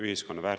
Leo Kunnas, palun!